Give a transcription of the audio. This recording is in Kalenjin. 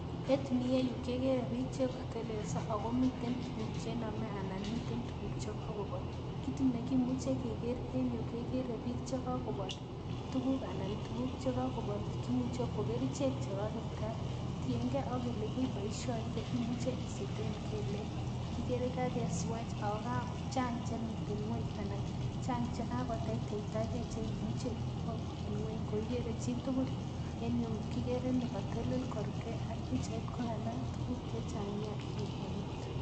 En ireyu kekere bik chekotelelso akomiten tuguk chenome anan miten tuguk chekokobol kit nekimuche kekere en yu kimuche keker en yu bik chekokobol yuguk anan tuguk chekokobol imuche kokerichek chebo kipkaa tiengee ak elekeboishoite imuche isiten kelek ,kikere kakeswach ako chang chemiten ngweny anan chang chekakoteitetaa kee chemuche ikwou en ngweny koikere chitugul en yu kikere ni kotelel korubkee pichait kokanam tuguk chechang nea en eut.